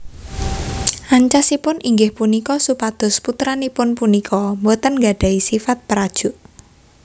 Ancasipun inggih punika supados putranipun punika boten nggadhahi sifat perajuk